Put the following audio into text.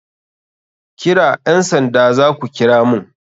Kira ƴan sanda zaku kira mun..